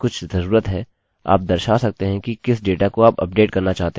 अतः मैं यह रिकार्ड अभिलेखबोलूँगा जो यह लम्बी लाइन यहाँ पर है